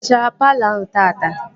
Ị hichara palọ ahụ taata?